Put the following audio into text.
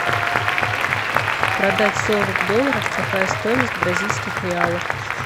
продать сорок долларов какая стоимость в бразильских реалах